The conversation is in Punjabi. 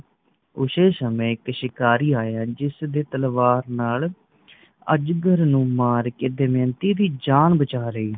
ਊਸ਼ੇ ਸਮਏ ਇੱਕ ਸ਼ਿਕਾਰੀ ਆਇਆ ਜਿਸਦੀ ਤਲਵਾਰ ਨਾਲ ਅਜਗਰ ਨੂੰ ਮਾਰ ਕੇ ਦਮਯੰਤੀ ਦੀ ਜਾਨ ਬਚਾ ਲਈ